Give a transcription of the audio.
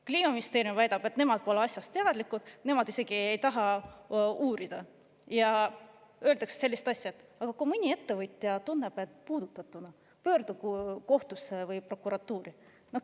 Kliimaministeerium väidab, et nemad pole asjast teadlikud, nad isegi ei taha uurida, ja öeldakse sellist asja, et kui mõni ettevõtja tunneb end puudutatuna, pöördugu kohtusse või prokuratuuri.